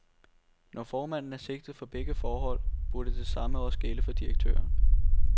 Når formanden er sigtet for begge forhold, burde det samme også gælde for direktøren.